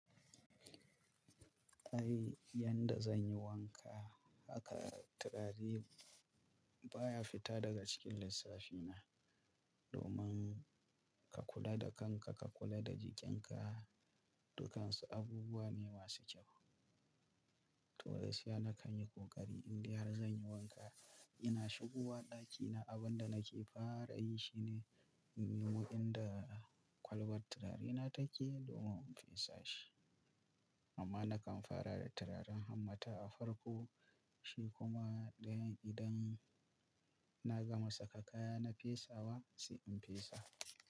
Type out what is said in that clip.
Ai yanda zan yi wanka haka turari baya fita daga cikin lissafina. Domin ka kula da kanka, ka kula da jikinka, dukansu abubuwa ne masu kyau. To da sai na kan yi kokari indai har zan yi wanka. Ina shigowa ɗakina, abin da nake fara yi shine in nemo inda kwalbar turare na take domin in fesa shi. Amma nakan fara da turaren hammata a farko shi kuma idan na gama saka kaya na fesawa sai in fesa.